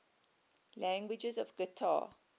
languages of qatar